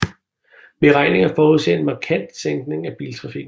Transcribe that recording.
Beregninger forudser en markant sænkning af biltrafikken